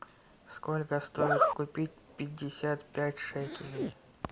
сколько стоит купить пятьдесят пять шекелей